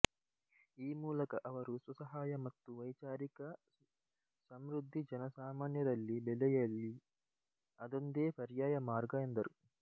ಈ ಮೂಲಕ ಅವರು ಸ್ವಸಹಾಯ ಮತ್ತು ವೈಚಾರಿಕ ಸಮ್ಋದ್ಧಿ ಜನಸಾಮಾನ್ಯರಲ್ಲಿ ಬೆಳೆಯಲಿ ಅದೊಂದೇ ಪರ್ಯಾಯ ಮಾರ್ಗ ಎಂದರು